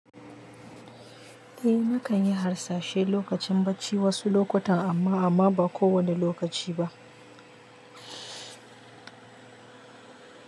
Eh, nakan yi harsashe lokacin bacci wasu lokutan amma amma ba ko wani lokaci ba.